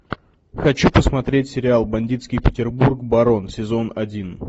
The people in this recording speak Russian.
хочу посмотреть сериал бандитский петербург барон сезон один